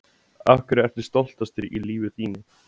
Af hverju ertu stoltastur í lífi þínu?